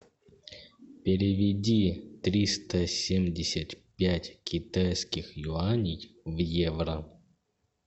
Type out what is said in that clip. переведи триста семьдесят пять китайских юаней в евро